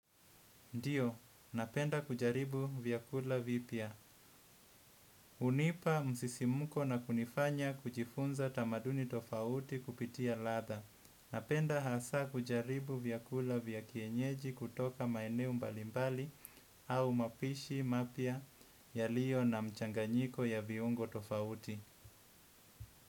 Ndiyo, napenda kujaribu vyakula vipya. Unipa msisimuko na kunifanya kujifunza tamaduni tofauti kupitia ladha. Napenda hasa kujaribu vyakula vya kienyeji kutoka maeneo mbalimbali au mapishi mapya yaliyo na mchanganyiko ya viungo tofauti.